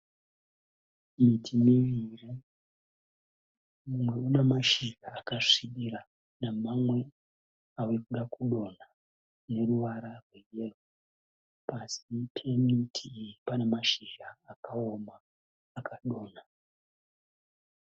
Miti miviri, mumwe una mashizha akasvibira namamwe ave kuda kudonha ane ruvara rweyero. Pasi pemiti iyi pane mashizha akaoma akadonha.